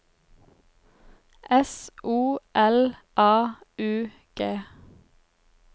S O L A U G